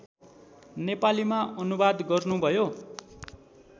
नेपालीमा अनुवाद गर्नुभयो